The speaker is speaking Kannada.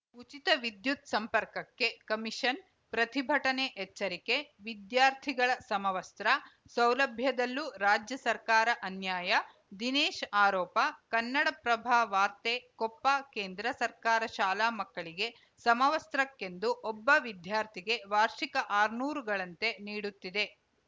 ಉಚಿತ ವಿದ್ಯುತ್‌ ಸಂಪರ್ಕಕ್ಕೆ ಕಮಿಷನ್‌ ಪ್ರತಿಭಟನೆ ಎಚ್ಚರಕೆ ವಿದ್ಯಾರ್ಥಿಗಳ ಸಮವಸ್ತ್ರ ಸೌಲಭ್ಯದಲ್ಲೂ ರಾಜ್ಯ ಸರ್ಕಾರ ಅನ್ಯಾಯ ದಿನೇಶ್‌ ಆರೋಪ ಕನ್ನಡಪ್ರಭ ವಾರ್ತೆ ಕೊಪ್ಪ ಕೇಂದ್ರ ಸರ್ಕಾರ ಶಾಲಾ ಮಕ್ಕಳಿಗೆ ಸಮವಸ್ತ್ರಕ್ಕೆಂದು ಒಬ್ಬ ವಿದ್ಯಾರ್ಥಿಗೆ ವಾರ್ಷಿಕ ಆರುನೂರು ಗಳಂತೆ ನೀಡುತ್ತಿದೆ